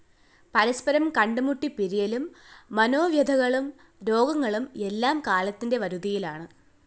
പരസ്പരം കണ്ടുമുട്ടി പിരിയലും മനോവ്യഥകളും രോഗങ്ങളും എല്ലാം കാലത്തിന്റെ വരുതിയിലാണ്‌